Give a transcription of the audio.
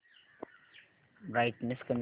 brightness कमी कर